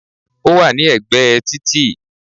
Ó wà ní ẹ̀gbẹ́ ẹ títì